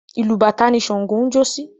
Ìlù bàtá ni Ṣàǹgó ń jó sí.